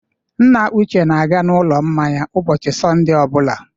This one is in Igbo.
Nna Uche na-aga n'ụlọ mmanya ụbọchị Sọnde ọ bụla.